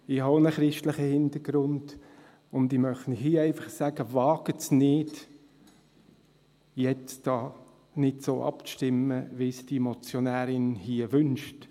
Ich habe einen christlichen Hintergrund, und ich möchte Ihnen hier einfach sagen: Wagen Sie es nicht, jetzt nicht so abzustimmen, wie es die Motionärin wünscht.